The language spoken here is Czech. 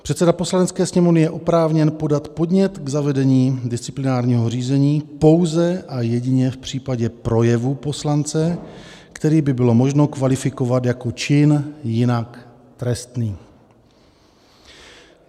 Předseda Poslanecké sněmovny je oprávněn podat podnět k zavedení disciplinárního řízení pouze a jedině v případě projevu poslance, který by bylo možno kvalifikovat jako čin jinak trestný.